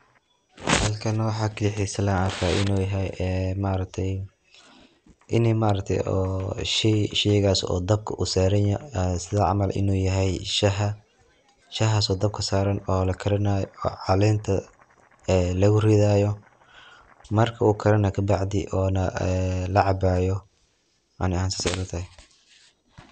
Halkaan waxa kalixiis laa arkaa inu yahaay ee maaragtay inii maaragtay oo sheey, sheygaas oo dabkaa uu saraan yahay sidaa camaal inu yahay shaaha. shahaas oo dabkaa saraan oo laa karinaayo oo caleenta ee laguu ridaayo markaa uu karanaa kabacdii oona laa cabaayo anii ahaan sasee ilaa tahay.